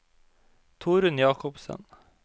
Torunn Jacobsen